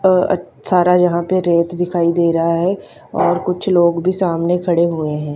अ अ सारा यहां पे रेत दिखाई दे रहा है और कुछ लोग भी सामने खड़े हुए हैं।